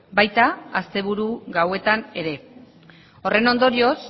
baita asteburu gauetan ere horren ondorioz